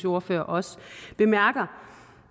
ordfører også bemærker